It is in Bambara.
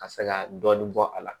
Ka se ka dɔɔnin bɔ a la